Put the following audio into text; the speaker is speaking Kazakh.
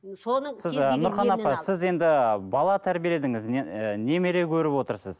соның сіз ы нұрхан апа сіз енді бала тәрбиеледіңіз ы немере көріп отырсыз